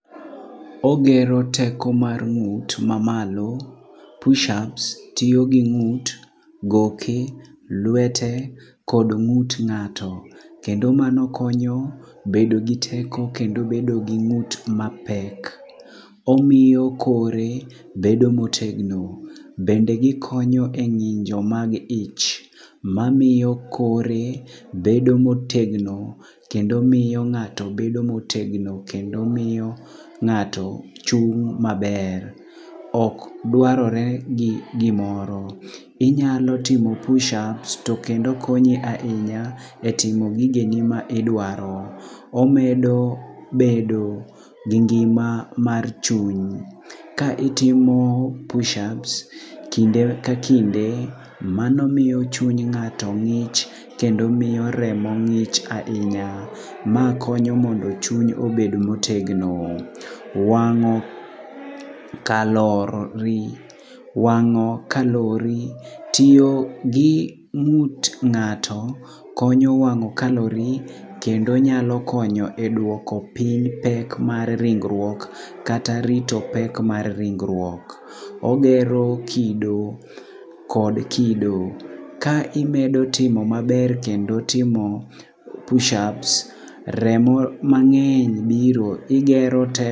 Ogero teko mar ng'ut mamalo push ups, tiyo gi ng'ut, goki, lwete kod ng'ut ng'ato. Kendo mano konyo bedo gi teko kendo bedo gi ng'ut mapek. Omiyo kore bedo motegno. Bende gikonyo e ng'injo mag ich mamiyo kore bedo motegno kendo miyo ng'ato bedo motegno. Kendo miyo ng'ato chung' maber. Ok dwarore gi gimoro. Inyalo timo push ups, to kendo konyi ahinya e timo gigeni ma idwaro. Omedo bedo gi ngima mar chuny. Ka itimo push ups kinde ka kinde, mano miyo chuny ng'ato ng'ich kendo miyo remo ng'ich ahinya. Ma konyo mondo chuny obed motegno. Wang'o kalori, tiyo gi ng'ut ng'ato konyo wang'o kalori kendo nyalo konyo e dwoko piny pek mar ringruok kata rito pek mar ringruok. Ogero kido kod kido, ka imedo timo maber kendo timo push ups, remo mang'eny biro, igero teko.